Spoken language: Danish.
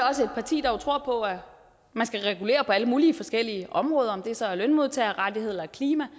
også et parti der tror på at man skal regulere på alle mulige forskellige områder om det så er lønmodtagerrettigheder eller klima